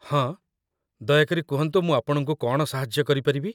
ହଁ, ଦୟାକରି କୁହନ୍ତୁ ମୁଁ ଆପଣଙ୍କୁ କ'ଣ ସାହାଯ୍ୟ କରିପାରିବି?